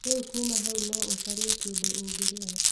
Rĩu kuuma hau no ũcarie kĩndũ ũngĩrĩa